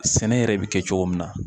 Sɛnɛ yɛrɛ bi kɛ cogo min na